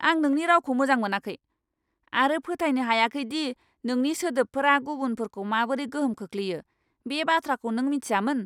आं नोंनि रावखौ मोजां मोनाखै आरो फोथायनो हायाखै दि नोंनि सोदोबफोरा गुबुनफोरखौ माबोरै गोहोम खोख्लैयो, बे बाथ्राखौ नों मिथियामोन!